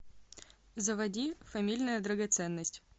заводи фамильная драгоценность